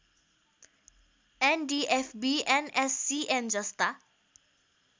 NDFB NSCN जस्ता